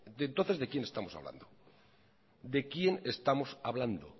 su nómina entonces de quién estamos hablando de quién estamos hablando